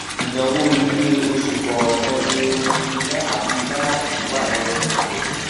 ináwó ilé oṣù kọọkan ní omi ina àti gaasi wà lẹnu rẹ